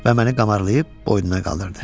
Və məni qamarlayıb boynuna qaldırdı.